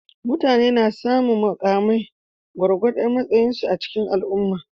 Mutane suna samun mukamai gwargwadon matsayinsu a cikin al'umma.